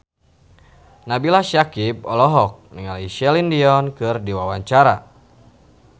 Nabila Syakieb olohok ningali Celine Dion keur diwawancara